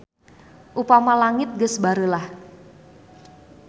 Upama langit geus bareulah.